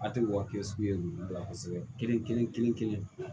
A ti wasigi olu la kosɛbɛ kelen kelen kelen kelen